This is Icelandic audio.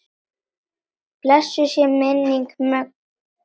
Blessuð sé minning Möggu.